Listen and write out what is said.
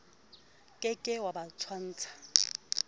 ke ke wa ba tshwantsha